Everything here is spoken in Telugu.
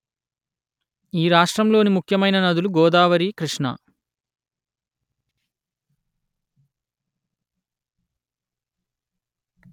ఈ రాష్ట్రంలోని ముఖ్యమైన నదులు గోదావరి కృష్ణ